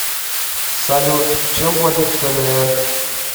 салют чем платить в кнр